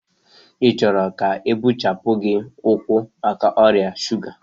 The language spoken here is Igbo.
ị chọrọ ka ebechapụ gị ụkwụ maka ọrịa shuga?